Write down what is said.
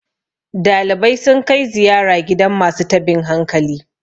dalibai sun kai ziyara gidan masu tabin hankali